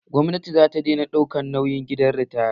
Gwamnati za ta dena ɗaukan nauyin gidan ritaya